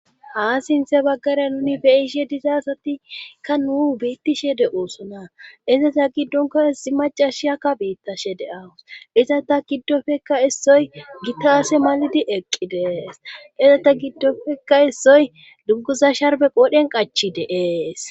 haa sinthe baggara nuni beyishe dizasatikka nuu beittishe de oosona izata giddonka issi macashiyakka beittashe deawus iza ta giddofekka issoy gitaase malidi eqqi dees iza ta giddofekka issoy dugguza sharbe qoodhen qachi deees